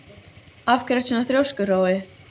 Af hverju ertu svona þrjóskur, Hrói?